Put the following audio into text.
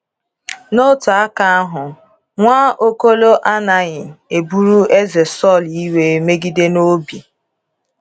N'otu aka ahụ, Nwaokolo anaghị eburu eze Saul iwe megide n'obi.